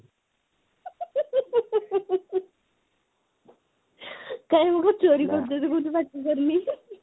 କାଇଁ ମୁ କଣ ଚୋରି କରିଦେବି ବୋଲି ପାଠ ପଢୁନି